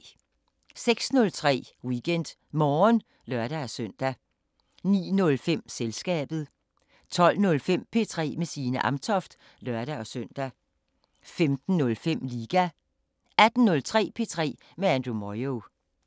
06:03: WeekendMorgen (lør-søn) 09:05: Selskabet 12:05: P3 med Signe Amtoft (lør-søn) 15:05: Liga 18:03: P3 med Andrew Moyo